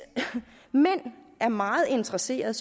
mænd er meget interesseret